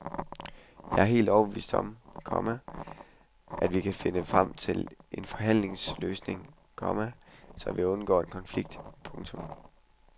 Jeg er helt overbevist om, komma at vi kan finde frem til en forhandlingsløsning, komma så vi undgår en konflikt. punktum